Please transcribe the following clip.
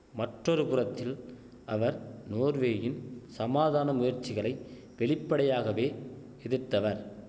மற்றொரு புறத்தில் அவர் நோர்வேயின் சமாதான முயற்சிகளை வெளிப்படையாகவே எதிர்த்தவர்